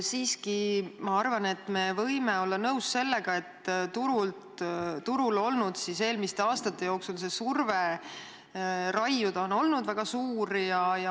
Siiski ma arvan, et me võime olla nõus sellega, et turul on eelmiste aastate jooksul surve raiuda olnud väga suur.